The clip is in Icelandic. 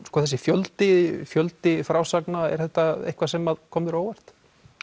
þessi fjöldi fjöldi frásagna er þetta eitthvað sem kom þér á óvart